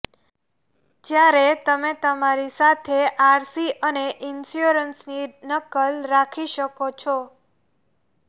જયારે તમે તમારી સાથે આરસી અને ઇન્શ્યોરન્સની નકલ રાખી શકો છો